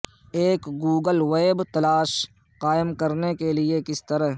ایک Google web تلاش قائم کرنے کے لئے کس طرح